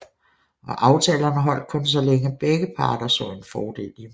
Og aftalerne holdt kun så længe begge parter så en fordel i dem